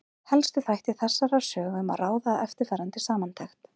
Helstu þætti þessarar sögu má ráða af eftirfarandi samantekt.